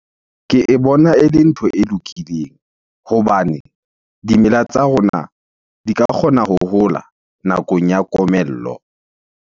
Ke e bona ele ntho e lokileng hobane dimela tsa rona di ka kgona ho hola nakong ya komello.